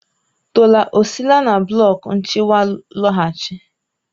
Tola ọ sile na blọk nchịkwa lọghachi?